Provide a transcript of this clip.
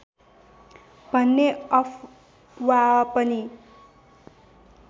भन्ने अफवाह पनि